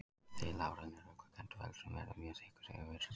Þelhárin eru ullarkennd og feldurinn verður mjög þykkur yfir vetrartímann.